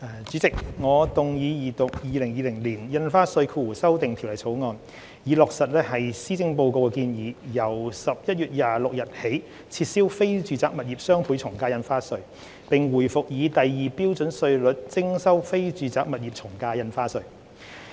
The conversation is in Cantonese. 主席，我動議二讀《2020年印花稅條例草案》，以落實施政報告的建議，由11月26日起撤銷非住宅物業雙倍從價印花稅，並回復以第二標準稅率徵收非住宅物業從價印花稅。